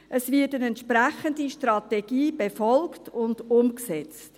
Es wird eine entsprechende Strategie befolgt und umgesetzt.